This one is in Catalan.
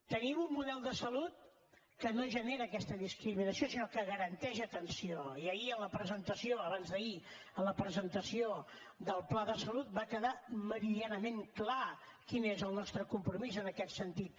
tenim un model de salut que no genera aquesta discriminació sinó que garanteix atenció i abans d’ahir en la presentació del pla de salut va quedar meridianament clar quin és el nostre compromís en aquest sentit